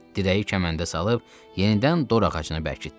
Dirəyi kəməndə salıb yenidən dorağacına bərkitdi.